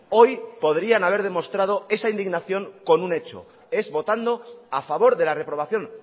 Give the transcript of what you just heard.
hoy podrían haber demostrado esa indignación con un hecho es votando a favor de la reprobación